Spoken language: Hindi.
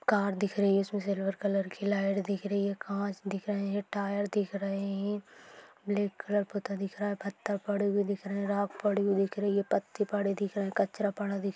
कार दिख रही हैइस मे सिल्वर कलर की लाइट दिख रही है काच दिख रही है टायर दिख रही है ब्लॅक कलर पूता दिख रहा है पत्थर पड़े हुए दिख रहे है रोक पड़े हुई दिख रही है पती पड़े दिख रहे है कचरा पड़ा दिख रहा--